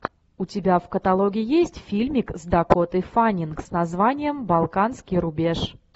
у тебя в каталоге есть фильмик с дакотой фаннинг с названием балканский рубеж